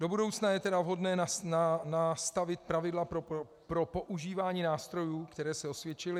Do budoucna je tedy vhodné nastavit pravidla pro používání nástrojů, které se osvědčily.